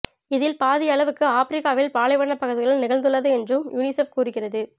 இதில் பாதி அளவுக்கு ஆப்பிரிக்காவில் பாலைவனப் பகுதிகளில் நிகழ்ந்துள்ளது என்றும் யுனிசெப் கூறுகிறது